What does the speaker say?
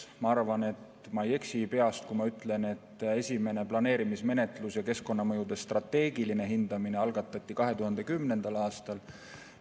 Ma arvan, et ma ei eksi, kui ma peast ütlen, et esimene planeerimismenetlus ja keskkonnamõjude strateegiline hindamine algatati 2010. aastal.